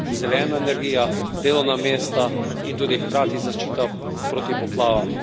Zelena energija, delovna mesta in tudi hkrati zaščita pred poplavami.